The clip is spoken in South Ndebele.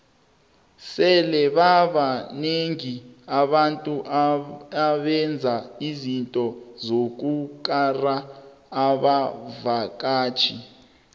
sele babanengi abantu abenza izinto zokukara abavaktjhi